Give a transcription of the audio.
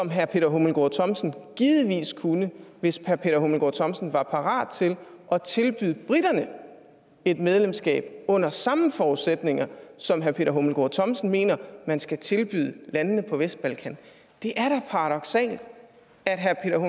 herre peter hummelgaard thomsen givetvis kunne hvis herre peter hummelgaard thomsen var parat til at tilbyde briterne et medlemskab under samme forudsætninger som herre peter hummelgaard thomsen mener man skal tilbyde landene på vestbalkan det er da paradoksalt at herre